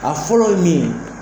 A fɔlɔ ye min ye.